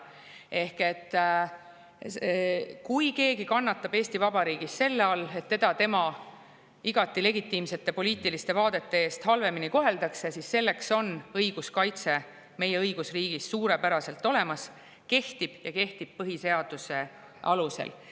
Ehk kui keegi kannatab Eesti Vabariigis selle all, et teda tema igati legitiimsete poliitiliste vaadete tõttu halvemini koheldakse, siis selleks on õiguskaitse meie õigusriigis suurepäraselt olemas ja see kehtib põhiseaduse alusel.